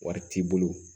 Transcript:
Wari t'i bolo